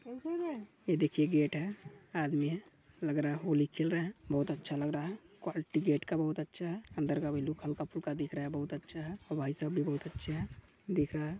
ये देखिये गेट है आदमी है लग रहा है होली खेल रहे है बहुत अच्छा लग रहा है क़्वालिटी गेट का बहुत अच्छा है अंदर का भी लुक हल्का-फुल्का दिख रहा है बहुत अच्छा है और भाई साहब भी बहुत अच्छे है दिख रहा है।